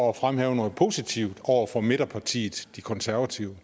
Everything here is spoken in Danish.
at fremhæve noget positivt over for midterpartiet de konservative